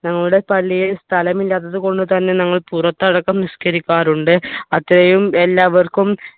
ഞങ്ങളുടെ പള്ളിയിൽ സ്ഥലം ഇല്ലാത്തതുകൊണ്ട് തന്നെ ഞങ്ങൾ പുറത്തടക്കം നിസ്കരിക്കാറുണ്ട് അത്രെയും എല്ലാവർക്കും